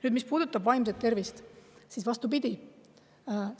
Nüüd, mis puudutab vaimset tervist, siis vastupidi,